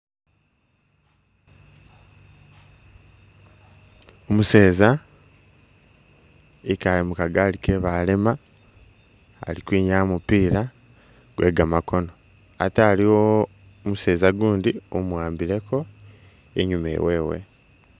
Umuseeza ikaale mu kagali ke balema ali kwinyaa mupila gwe gamakono ate aliwo umuseeza gundi umuwambileko inyuma iwewe.